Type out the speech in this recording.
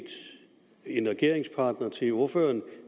en regeringspartner til ordføreren og